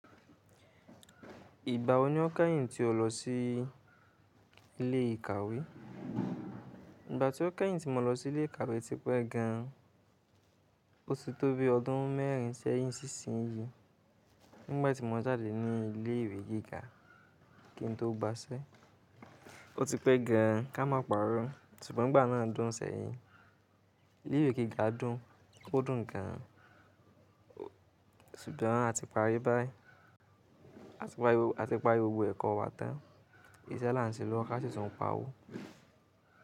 Ìgbà wò ní ó kẹ́yìn tí ó lọ sí ilé ìkàwé? Ìgbà tí ó kẹ́yìn tí mo lọ sí ilé ìkàwé ti pé gan an, ó ti tó bi ọdún mẹ́rin sẹ́yìn sísin yìí. Nígbà tí mo jáde ní ilé ìwé gíga kí n tó gbaṣẹ́, ó ti pé gan an ká máa parọ́. Sùgbọ́n ìgbà náà dùn sẹ́yìn. Ilé ìwé gíga dùn, ó dùn gan an. Sùgbọ́n a ti parí báyìí. A ti parí gbogbo ẹ̀kọ́ wa tán. Ìṣe là ń ṣe lọ́wọ́ ká sì tún ń pa owó.